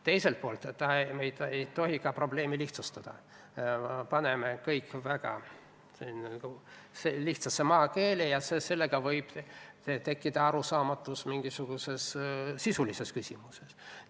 Teiselt poolt me ei tohi probleemi lihtsustada: kui me paneme kõik väga lihtsasse maakeelde, siis võib tekkida arusaamatusi mingisugustes sisulistes küsimustes.